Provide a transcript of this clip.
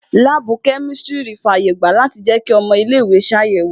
Láàbù kẹ́mísírì fi àyè gba a láti jẹ kí ọmọ ilé ìwé ṣe àyẹ̀wò